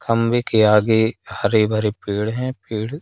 खंबे के आगे हरे भरे पेड़ हैं पेड़ --